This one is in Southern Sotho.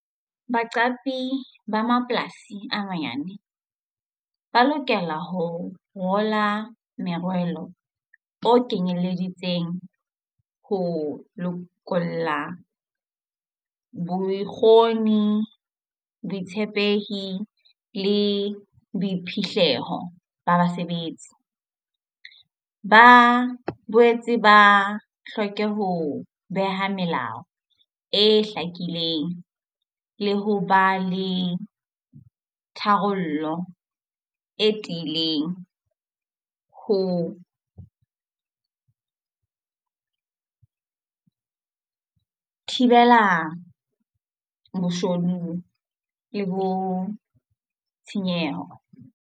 Baqapi ba mapolasi a manyane ba lokela ho ngola merwalo o kenyelleditseng ho lokolla bokgoni, botshepehi le boiphihlelo ba basebetsi. Ba boetse ba hloke ho beha melao e hlakileng le ho ba le tharollo e tiileng ho thibela boshodu le bo tshenyeho.